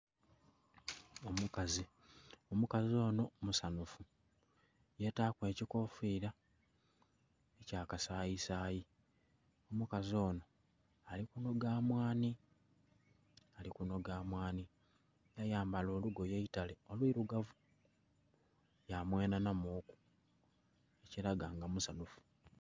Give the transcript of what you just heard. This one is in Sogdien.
Omukazi. Omukazi onho musanhufu. Yetaaku ekikofira ekya kasayisayi. Omukazi ono ali kunoga mwanhi. Ali kunoga mwanhi. Yayambala olugoye eitale olwirugavu. Yamwenhanamuku, ekiraga nga musanhufu.